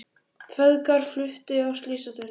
Feðgar fluttir á slysadeild